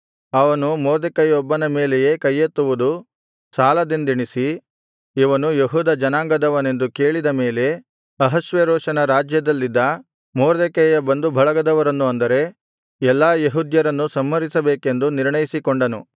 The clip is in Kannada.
ಅವನು ಮೊರ್ದೆಕೈಯೊಬ್ಬನ ಮೇಲೆಯೇ ಕೈಯೆತ್ತುವುದು ಸಾಲದೆಂದೆಣಿಸಿ ಇವನು ಯೆಹೂದ ಜನಾಂಗದವನೆಂದು ಕೇಳಿದ ಮೇಲೆ ಅಹಷ್ವೇರೋಷನ ರಾಜ್ಯದಲ್ಲಿದ್ದ ಮೊರ್ದೆಕೈಯ ಬಂಧುಬಳಗದವರನ್ನು ಅಂದರೆ ಎಲ್ಲಾ ಯೆಹೂದ್ಯರನ್ನು ಸಂಹರಿಸಬೇಕೆಂದು ನಿರ್ಣಯಿಸಿಕೊಂಡನು